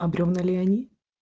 а бревна ли они